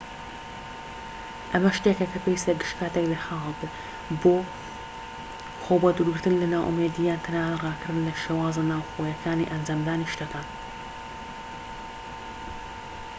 ئەمە شتێکە کە پێویستە گشت كاتێك لە خەیاڵت بێت بۆ خۆ بە دوورگرتن لە نائومێدی یان تەنانەت ڕاکردن لە شێوازە ناوخۆییەکانی ئەنجامدانی شتەکان